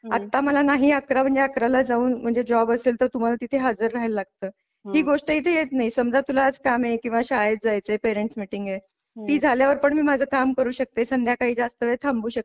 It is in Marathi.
आता मला नाही अकरा म्हणजे अकरा ला जाऊन म्हणजे जॉब असेल तर तुम्हाला तिथे हजर राहायला लागतं ही गोष्ट इथे येत नाही. समजा तुला आज कामे किंवा शाळेत जायचे पेरेंट्स मिटिंग आहे ती झाल्यावर पण माझं काम करू शकते संध्याकाळी जास्त वेळ थांबू शकते.